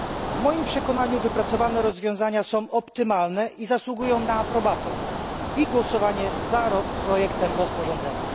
W moim przekonaniu wypracowane rozwiązania są optymalne i zasługują na aprobatę i głosowanie za projektem rozporządzenia.